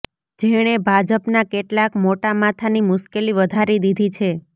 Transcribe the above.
જેણે ભાજપના કેટલાક મોટા માથાની મુશ્કેલી વધારી દીધી છે